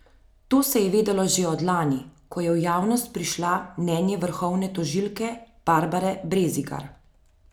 To se je vedelo že od lani, ko je v javnost prišlo mnenje vrhovne tožilke Barbare Brezigar.